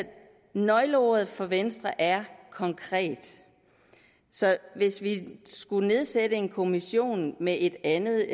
nøgleordet for venstre er konkret så hvis vi skulle nedsætte en kommission med et andet